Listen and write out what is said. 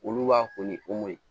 Olu b'a ko ni o mɔ ye